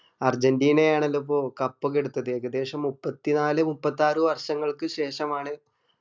Argentina ആണെതപ്പോ cup ഒക്കെ എടുത്തത് ഏകദേശം മുപ്പത്തിനാല് മുപ്പത്തിയാറ് വർഷങ്ങൾക്ക് ശേഷമാണ്